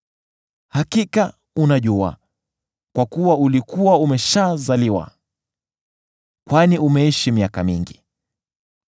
Hakika unajua, kwa kuwa ulikuwa umeshazaliwa! Kwani umeishi miaka mingi!